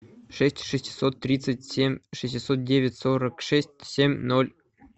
шесть шестьсот тридцать семь шестьсот девять сорок шесть семь ноль